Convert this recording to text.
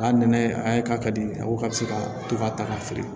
A nɛnɛ a k'a ka di a ko k'a bɛ se ka to ka ta k'a feere